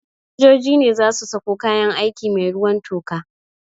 Sojoji ne za su sako kayan aiki mai ruwan toka